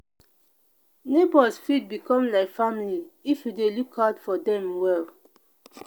neighbors fit become like family if you dey look out for dem well.